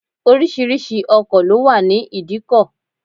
Oríṣiríṣi ọkọ̀ ló wà ní idikọ̀